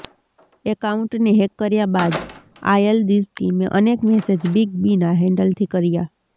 એકાઉન્ટને hack કર્યા બાદ આયલદિજ ટિમે અનેક મેસેજ બિગ બીના હેન્ડલથી કર્યા